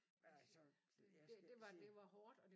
Altså jeg skal ikke sige